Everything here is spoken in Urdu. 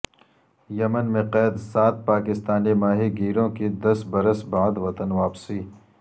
یمن میں قید سات پاکستانی ماہی گیروں کی دس برس بعد وطن واپسی